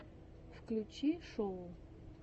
включи шоу